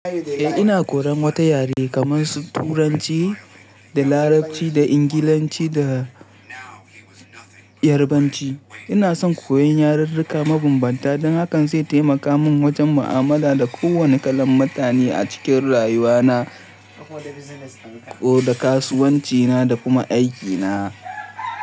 Eh, ina koyan wata yare kaman su Turanci da Larabci da Ingilanci da Yarbanci. Ina son koyon yareruka mabambanta don hakan zai taimaka min wajen mu'amala da kowane kalan mutane a cikin rayuwana ko da kasuwancina da kuma aikina.